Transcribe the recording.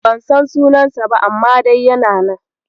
Ban san sunansa ba, amma dai yana nan.